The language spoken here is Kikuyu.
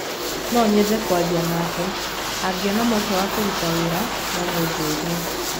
No nyende kwaria nake, angĩona mweke wa kũruta wĩra, no mũnjĩre.